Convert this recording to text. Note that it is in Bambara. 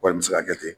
Kɔni bɛ se ka kɛ ten